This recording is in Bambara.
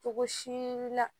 Togo si la